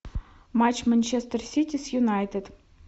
матч манчестер сити с юнайтед